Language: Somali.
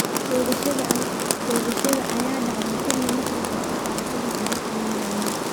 Toogashada ayaa dhacday xili maqrib ah oo ay ardaydu kubad ciyaarayeen.